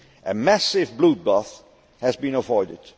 A massive bloodbath has been avoided.